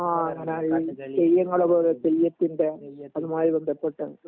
ആ എന്താ ഈ തെയ്യങ്ങളെ പോലെ തെയ്യത്തിന്റെ അതുമായി ബന്ധപ്പെട്ട മ്